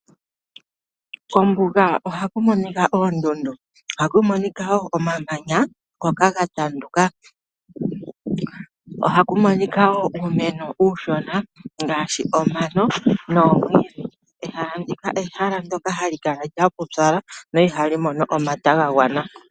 Kombuga ohakumonika oondundu, ohakumonika woo omamanya ge li miitandu. Ohakumonika woo uumeno uushona ngaashi omano nomwiidhi. Ombuga ehala ndoka hali kala lina uupyu, lyo ihali mono omvula ya gwana